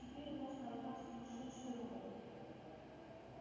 теперь у нас на руках сумасшедший робот